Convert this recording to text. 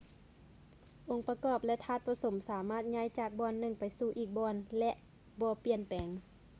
ອົງປະກອບ ແລະ ທາດປະສົມ ສາມາດຍ້າຍຈາກບ່ອນໜຶ່ງໄປສູ່ອີກບ່ອນ ແລະ ບໍ່ປ່ຽນແປງ